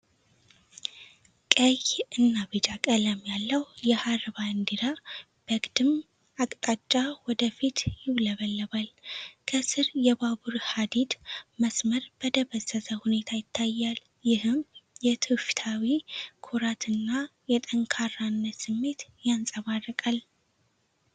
ቀይ እና ቢጫ ቀለም ያለው የሐር ባንዲራ በግድም አቅጣጫ ወደ ፊት ይውለበለባል። ከስር የባቡር ሀዲድ መስመር በደበዘዘ ሁኔታ ይታያል፤ ይህም የትውፊታዊ ኩራት እና የጠንካራነት ስሜትን ያንጸባርቃል።